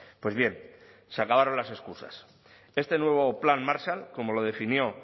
pues bien se acabaron las excusas este nuevo plan marshall como lo definió